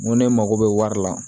N ko ne mako bɛ wari la